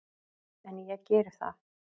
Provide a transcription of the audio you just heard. En ég geri það.